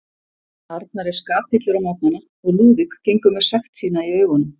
Arnar er skapillur á morgnana og Lúðvík gengur með sekt sína í augunum.